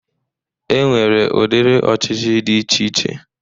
E nwere ụdiri ọchịchị dị iche iche